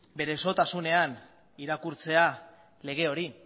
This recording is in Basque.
bere osotasunean irakurtzea lege hori